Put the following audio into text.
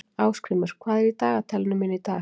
Ásgrímur, hvað er í dagatalinu mínu í dag?